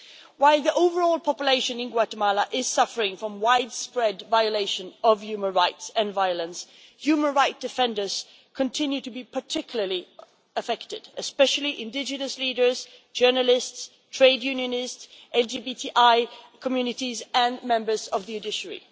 While the overall population in Guatemala is suffering from widespread violation of human rights and violence, human rights defenders continue to be particularly affected, especially indigenous leaders, journalists, trade unionists, LGBTI communities and members of the judiciary.